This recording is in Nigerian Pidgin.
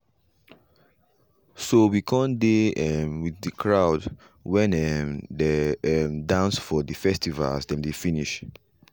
so we come dey um with the crowd when um dey um dance for the festival as dem dey finish.